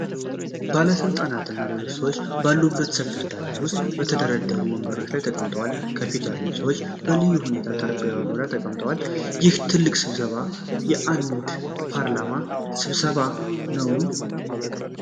ባለስልጣናት እና ሌሎች ሰዎች ባሉበት ሰፊ አዳራሽ ውስጥ በተደረደሩ ወንበሮች ላይ ተቀምጠዋል። ከፊት ያሉት ሰዎች በልዩ ሁኔታ በጠረጴዛ ዙሪያ ተቀምጠዋል። ይህ ትልቅ ስብሰባ የአንድ የፓርላማ ስብሰባ ነውን?